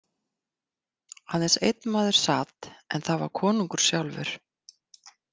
Aðeins einn maður sat en það var konungur sjálfur.